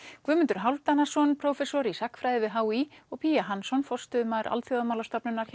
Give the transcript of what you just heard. Guðmundur Hálfdanarson prófessor í sagnfræði við h í og Hansson forstöðumaður Alþjóðamálastofnunar